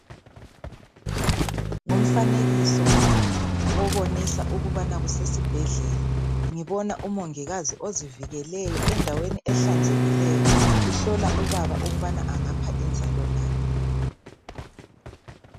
Ngumfanekiso obanalisa ukubana kusesibhedlela. Ngibona umongikazi ozivikeleyo endaweni ehlanzekileyo, uhlola ubaba ukubana angapha inzalo na.